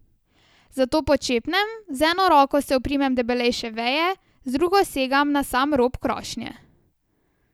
Zato počepnem, z eno roko se oprimem debelejše veje, z drugo segam na sam rob krošnje.